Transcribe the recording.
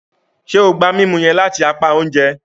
Ṣe o gba mímú yẹn lati apá oúnjẹ?